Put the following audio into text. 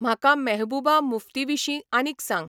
म्हाका मेहबूबा मुफ्तीविशीं आनीक सांग